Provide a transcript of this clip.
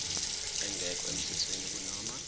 engekho emthethweni kunoma